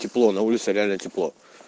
тепло на улице реально тепло